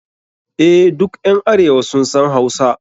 EH, duk ƴan arewa sun san Hausa.